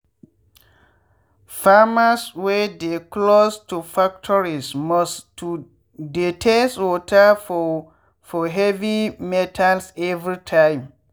farmers wey dey close to factories must to dey test water for for heavy metals every time.